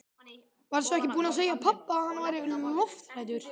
Varstu ekki búin að segja pabba að hann væri lofthræddur?